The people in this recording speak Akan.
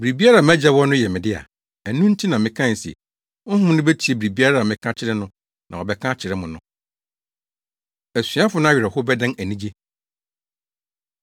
Biribiara a mʼAgya wɔ no yɛ me dea. Ɛno nti na mekae se Honhom no betie biribiara a meka kyerɛ no na wabɛka akyerɛ mo no.” Asuafo No Awerɛhow Bɛdan Anigye